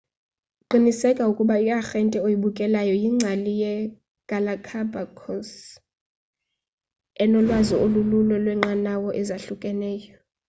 qiniseka ukuba iarhente oyibhukelayo yingcali yegalapagos enolwazi olululo lweenqanawa ezahlukeneyo